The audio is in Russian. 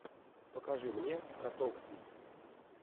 покажи мне котовский